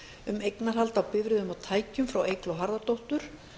um eignarhald á bifreiðum og tækjum frá eygló harðardóttur